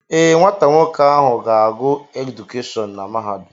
Ee, nwata nwoke ahụ ga-agụ edukeshọn na mahadum.